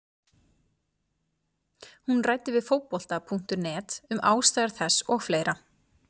Hún ræddi við Fótbolta.net um ástæður þess og fleira.